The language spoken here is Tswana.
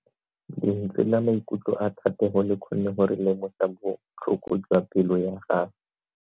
Lentswe la maikutlo a Thatego le kgonne gore re lemosa botlhoko jwa pelo ya gagwe.